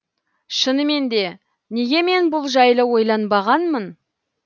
шынымен де неге мен бұл жайлы ойланбағанмын